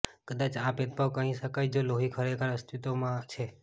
કદાચ આ ભેદભાવ કહી શકાય જો લોહી ખરેખર અસ્તિત્વમાં છે